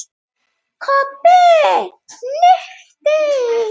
Kobbi hnippti í